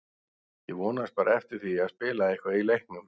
Ég vonaðist bara eftir því að spila eitthvað í leiknum.